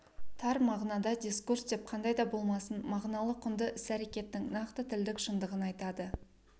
тар мағынада дискурс деп қандай да болмасын мағыналы құнды іс-әрекеттің нақты тілдік шындығын айтады